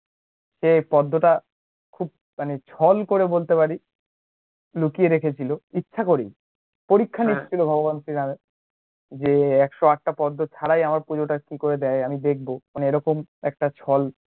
তো পদ্মোটা খুব মানে ছল করে বলতে পারিস লুকিয়ে রেখেছিল ইচ্ছে করেই পরীক্ষ নিচ্ছিলো ভগবান শ্রী রামের যে একশ’ আটটা পদ্মো ছাড়াই আমার পুজোটা কি করে দেয়া যায় আমি দেখবো মানে এরোকোন একটা চল